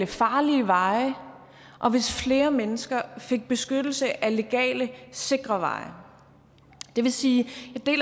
farlige veje og hvis flere mennesker fik beskyttelse ad legale sikre veje det vil sige